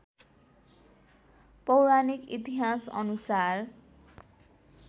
पौराणिक इतिहासअनुसार